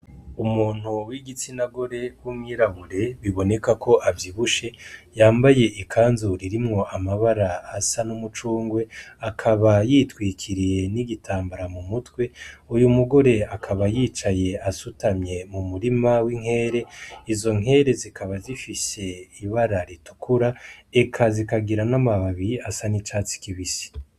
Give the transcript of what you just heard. Umuntu w'igitsina gore w'umwirabure biboneka ko avyibushe yambaye ikanzu irimwo amabara asa n'umuvungwe akaba yitwikiriye n'igitambara mumutwe, uyu mugore akaba yicaye asutamye mu murima w'inkere izo nkere zikaba zifise ibara ritukura eka zikagira n'amababi asa n'icatsi kibisi.